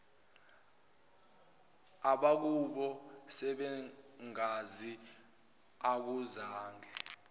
abakubo sebeyangazi akuzange